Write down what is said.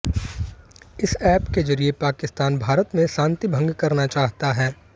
इस ऐप के जरिए पाकिस्तान भारत में शांति भंग करना चाहता है